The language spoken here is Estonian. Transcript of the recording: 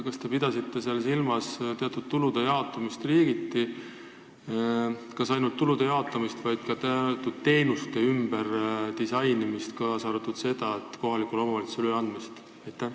Kas te pidasite silmas teatud tulude jaotamist ja kas ainult tulude jaotamist või ka teenuste ümberdisainimist, kaasa arvatud kohalikule omavalitsusele üleandmist?